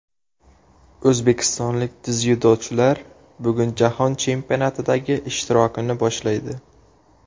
O‘zbekistonlik dzyudochilar bugun Jahon chempionatidagi ishtirokini boshlaydi.